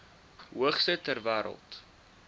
hoogste ter wêreld